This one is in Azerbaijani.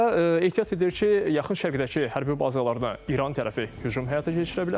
Və ehtiyat edir ki, yaxın şərqdəki hərbi bazalarına İran tərəfi hücum həyata keçirə bilər.